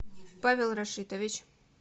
павел рашитович